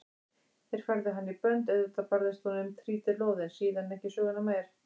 Þeir færðu hana í bönd, auðvitað barðist hún um trítilóð en síðan ekki söguna meir.